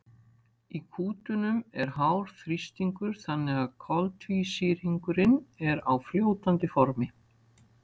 í kútunum er hár þrýstingur þannig að koltvísýringurinn er á fljótandi formi